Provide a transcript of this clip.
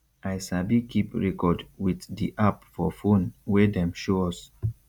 i sabi keep record wit di app for phone wey dem show us